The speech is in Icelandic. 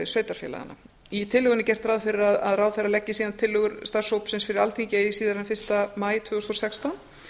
sveitarfélaganna í tillögunni er gert ráð fyrir að ráðherra leggi síðan tillögur starfshópsins fyrir alþingi eigi síðar en fyrsta maí tvö þúsund og sextán